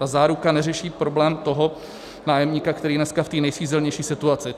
Ta záruka neřeší problém toho nájemníka, který je dnes v té nejsvízelnější situaci.